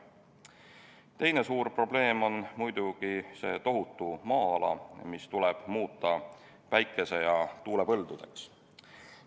Teine suur probleem on muidugi see tohutu maa-ala, mis tuleb muuta päikese- ja tuulepõldudeks.